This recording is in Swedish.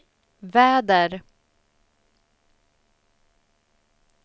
väder